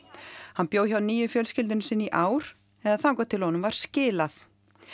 hann bjó hjá nýju fjölskyldunni sinni í ár eða þangað til honum var skilað